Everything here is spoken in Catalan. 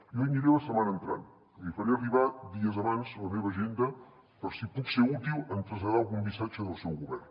jo hi aniré la setmana entrant li faré arribar dies abans la meva agenda per si puc ser útil en traslladar algun missatge del seu govern